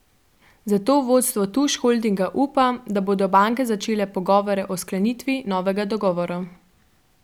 Zato vodstvo Tuš Holdinga upa, da bodo banke začele pogovore o sklenitvi novega dogovora.